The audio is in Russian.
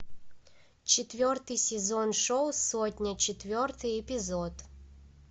четвертый сезон шоу сотня четвертый эпизод